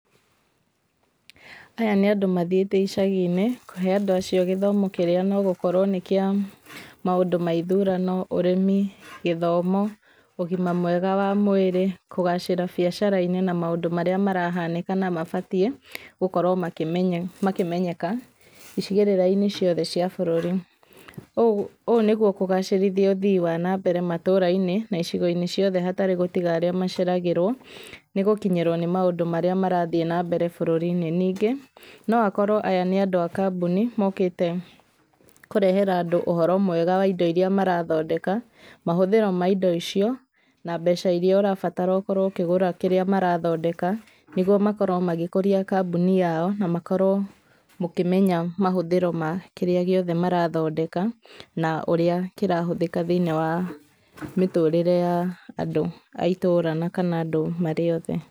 Aya nĩ andũ mathiĩte icagi-inĩ kũhe andũ acio gĩthomo kĩrĩa nogũkorwo nĩ kĩa maũndũ ma ithurano, ũrĩmi, gĩthomo, ũgima mwega wa mwĩrĩ, kũgacira biacara-inĩ na maũndũ marĩa marahanĩka na mabatiĩ gũkorwo makĩmenyeka gĩcigĩrĩra-inĩ ciothe cia bũrũri, ũũ nĩguo kũgacĩrithia ũthii wa na mbere matũra-inĩ na icigo-inĩ ciothe hatarĩ gũtiga arĩa maceragĩrwo nĩgũkinyĩrwo nĩ maũndũ marĩa marathiĩ na mbere bũrũri-inĩ, ningĩ noakorwo aya nĩ andũ a kambũni mokĩte kũrehera andũ ũhoro mwega wa indo iria marathondeka, mahũthĩro ma indo icio, na mbeca iria ũrabatara ũkorwo ũkĩgũra kĩrĩa marathondeka, nĩguo makorwo magĩkũria kambũni yao, na makorwo mũkĩmenya mahũthĩro ma kĩrĩa gĩothe marathondeka, na ũrĩa kĩrahũthĩka thĩiniĩ wa mĩtũrĩre ya andũ a itũra kana andũ marĩ othe.